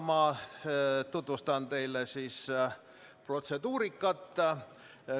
Ma tutvustan teile protseduurikat.